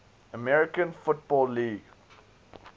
american football league